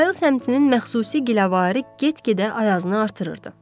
Bayıl səmtinin məxsusi giləvarı get-gedə ayazını artırırdı.